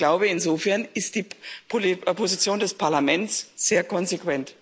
Ich glaube, insofern ist die Position des Parlaments sehr konsequent.